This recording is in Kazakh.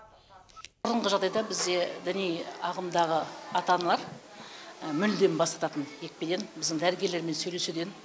бұрынғы жағдайда бізде діни ағымдағы ата аналар мүлде бас тартатын екпеден біздің дәрігерлермен сөйлесуден